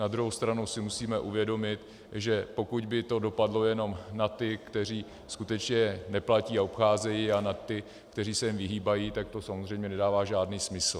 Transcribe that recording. Na druhou stranu si musíme uvědomit, že pokud by to dopadlo jenom na ty, kteří skutečně neplatí a obcházejí, a na ty, kteří se jim vyhýbají, tak to samozřejmě nedává žádný smysl.